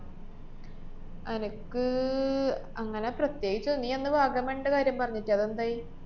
അനക്ക് അങ്ങനെ പ്രത്യേകിച്ച് നീ അന്ന് വാഗമൺടെ കാര്യം പറഞ്ഞിട്ടെ, അതെന്തായി?